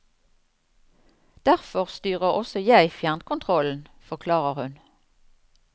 Derfor styrer også jeg fjernkontrollen, forklarer hun.